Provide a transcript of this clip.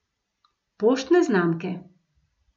Poštne znamke.